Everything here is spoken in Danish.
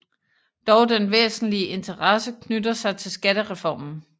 Dog den væsentlige interesse knytter sig til skattereformen